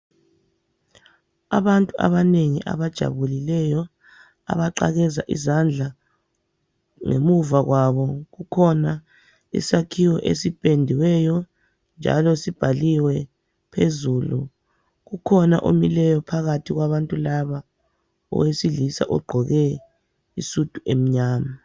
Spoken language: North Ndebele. Abantu abanengi abajabulileyo abaqakeza izandla, ngemuva kwabo kukhona isakhiwo esipendiweyo njalo sibhaliwe phezulu. Kukhona omileyo phakathi kwabantu laba owesilisa ogqoke isudu emnyama.